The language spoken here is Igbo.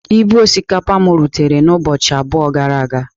Ibu osikapa m rutere ụbọchị abụọ gara aga.